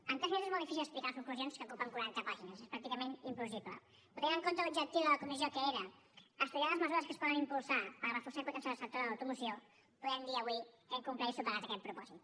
en tres minuts és molt difícil explicar conclusions que ocupen quaranta pàgines és pràcticament impossible però tenint en compte l’objectiu de la comissió que era estudiar les mesures que es poden impulsar per reforçar i potenciar el sector de l’automoció podem dir avui que hem complert i superat aquest propòsit